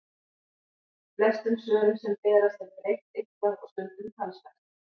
Flestum svörum sem berast er breytt eitthvað og stundum talsvert.